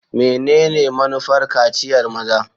Menene manufar kaciyar maza?